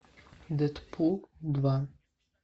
дедпул два